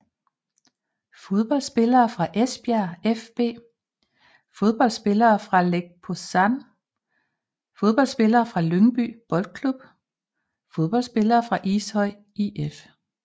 Fodboldspillere fra Esbjerg fB Fodboldspillere fra Lech Poznań Fodboldspillere fra Lyngby Boldklub Fodboldspillere fra Ishøj IF